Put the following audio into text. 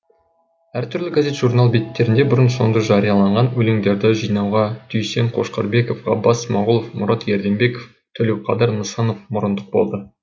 әр түрлі газет журнал беттерінде бұрын соңды жарияланған өлеңдерді жинауға дүйсен қошқарбеков ғаббас смағұлов мұрат ерденбеков төлеуқадыр нысанов мұрындық болды